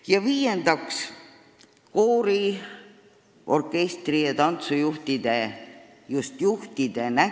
Ja viiendaks, koori-, orkestri- ja tantsujuhtide – just juhtide!